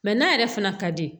n'a yɛrɛ fana ka di